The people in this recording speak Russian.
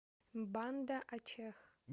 банда ачех